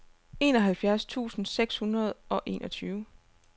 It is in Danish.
enoghalvfjerds tusind seks hundrede og enogtyve